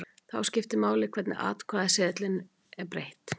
Þá skiptir máli hvernig atkvæðaseðlinum er breytt.